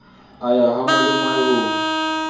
a ya ha malomae ho